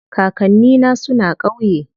Kakanni na suna ƙauye.